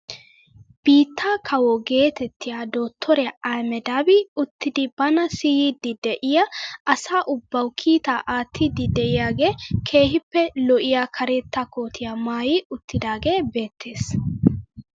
Biittaa kawo geetettiyaa dottoriyaa ahimedaaabi uttidi bana siyiidi de'iyaa asa ubbawu kiitaa aattiidi de'iyaagee keehippe lo"iyaa karetta kootiyaa maayi uttidagee beettes.